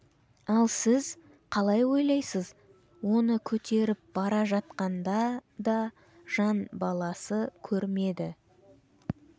ал сіз қалай ойлайсыз оны көтеріп бара жатқанда да жан баласы көрмеді